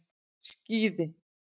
Skíði